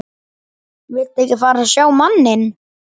Viltu ekki fá að sjá manninn?